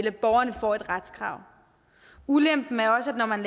at borgerne får et retskrav ulempen er også at når man